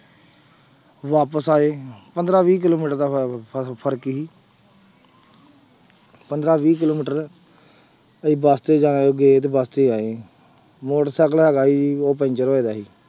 ਵਾਪਿਸ ਆਏ ਪੰਦਰਾਂ ਵੀਹ ਕਿੱਲੋਮੀਟਰ ਦਾ ਫ~ ਫ~ ਫ਼ਰਕ ਸੀ ਪੰਦਰਾਂ ਵੀਹ ਕਿੱਲੋਮੀਟਰ ਅਸੀਂ ਬਸ ਤੇ ਜਾ ਗਏ ਤੇ ਬਸ ਤੇ ਆਏ, ਮੋਟਰ ਸਾਇਕਲ ਹੈਗਾ ਸੀ ਉਹ ਪੈਂਚਰ ਹੋਇਆ ਸੀ।